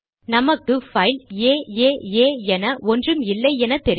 நமக்கு பைல் ஏஏஏ என ஒன்றும் இல்லை என தெரியும்